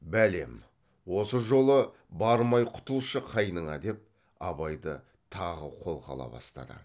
бәлем осы жолы бармай құтылшы қайныңа деп абайды тағы қолға ала бастады